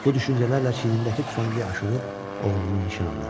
Bu düşüncələrlə çiynindəki tüfəngi aşırıb oğlunu nişan alır.